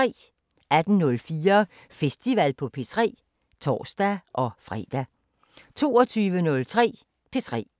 18:04: Festival på P3 (tor-fre) 22:03: P3